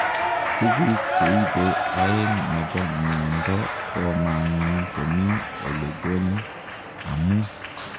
Tuguk cheibee oeng nepoo miondoo komanguu komii olengony amuu